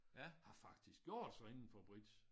Har faktisk gjort sig indenfor bridge